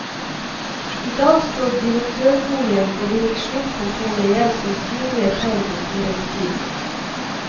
I dag står direktørboligen og direksjonskontorene igjen som synlige tegn på storhetstiden.